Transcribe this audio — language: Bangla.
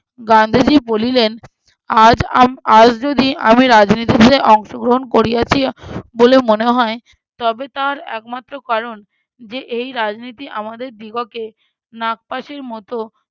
গান্ধীজি বলিলেন- আজ আম~ আজ যদি আমি রাজনীতিতে অংশগ্রহণ করিয়াছি বলে মনে হয় তবে তার একমাত্র কারণ যে এই রাজনীতি আমাদের দিগকে নাগপাশির মত